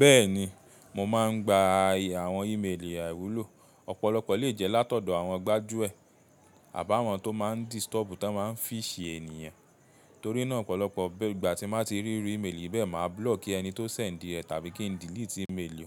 Bẹ́ẹ̀ni, mo máà ń gba àwọn ímeèlì a wúlò. Ọ̀pọ̀lọpọ̀ lè jẹ́ látọ̀dọ̀ àwọn gbájúẹ̀ àbá àwọn tó máa ń disturb tó ma ń fish ènìyàn. Torí náà, ọ̀pọ̀lọpọ̀ ìgbà tí mo bá ti rí ímeèlì bẹ́ẹ̀, mà á block ẹni tó sẹ̀ ń díẹ̀ tàbí kí n delete ímeèlì